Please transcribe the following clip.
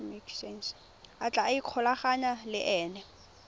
a tla ikgolaganyang le ena